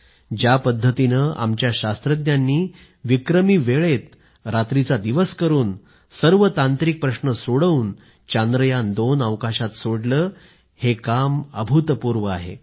ज्या पद्धतीनं आमच्या शास्त्रज्ञांनी विक्रमी वेळेत रात्रीचा दिवस करून सर्व तांत्रिक प्रश्न सोडवून चांद्रयान2 अवकाशात सोडलं हे काम अभूतपूर्व आहे